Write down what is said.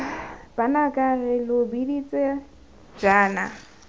banaka re lo biditse jaana